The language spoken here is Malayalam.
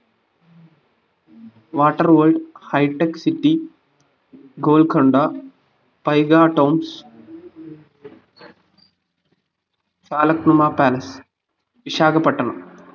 water world hitech city Golconda paigah tombs Falaknuma palace Visakhapatnam